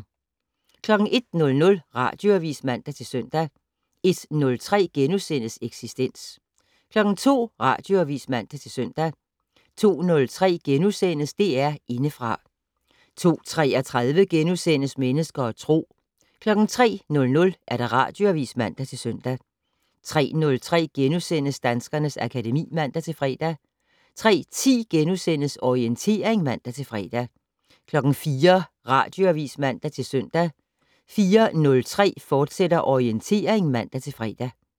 01:00: Radioavis (man-søn) 01:03: Eksistens * 02:00: Radioavis (man-søn) 02:03: DR Indefra * 02:33: Mennesker og Tro * 03:00: Radioavis (man-søn) 03:03: Danskernes akademi *(man-fre) 03:10: Orientering *(man-fre) 04:00: Radioavis (man-søn) 04:03: Orientering, fortsat (man-fre)